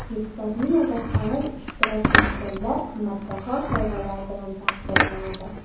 Viktorinada faol ishtirok etganlar qimmatbaho sovg‘alar bilan taqdirlanadi.